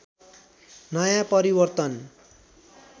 नयाँ परिवर्तन